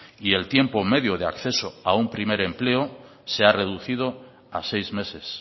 y el tiempo medio de acceso a un primer empleo se ha reducido a seis meses